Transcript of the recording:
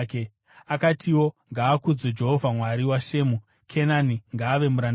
Akatiwo, “Ngaakudzwe Jehovha, Mwari waShemu! Kenani ngaave muranda waShemu.